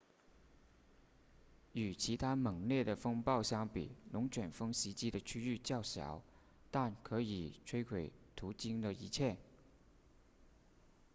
与其他猛烈的风暴相比龙卷风袭击的区域较小但可以摧毁途经的一切